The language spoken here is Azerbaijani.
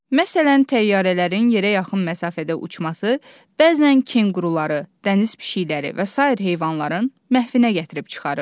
Məsələn, təyyarələrin yerə yaxın məsafədə uçması bəzən kenquruları, dəniz pişikləri və sair heyvanların məhvinə gətirib çıxarır.